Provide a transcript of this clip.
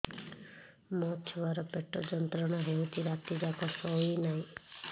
ମୋ ଛୁଆର ପେଟ ଯନ୍ତ୍ରଣା ହେଉଛି ରାତି ଯାକ ଶୋଇନାହିଁ